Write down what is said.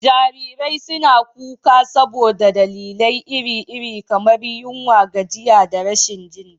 Jarirai suna kuka saboda dalilai iri-iri, kamar yunwa, gajiya, da rashin jin daɗi.